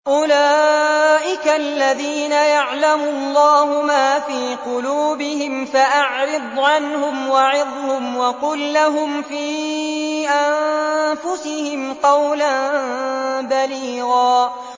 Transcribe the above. أُولَٰئِكَ الَّذِينَ يَعْلَمُ اللَّهُ مَا فِي قُلُوبِهِمْ فَأَعْرِضْ عَنْهُمْ وَعِظْهُمْ وَقُل لَّهُمْ فِي أَنفُسِهِمْ قَوْلًا بَلِيغًا